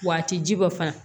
Wa a ti ji bɔ fana